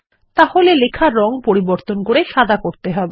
তাহলে লেখা রং পরিবর্তন করে সাদা করতে হবে